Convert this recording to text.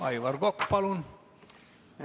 Aivar Kokk, palun!